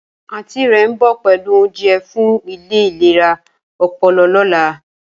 Aunty re nbo pelu ounje fun ile ilera opolo lola.